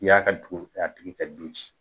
I y'a ka dugu a tigi ka du ci